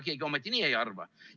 Ega keegi ometi nii ei arva?